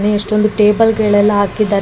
ಎಷ್ಟೊಂದ್ ಟೇಬಲ್ ಗಳೆಲ್ಲ ಹಾಕಿದ್ದಾರೆ.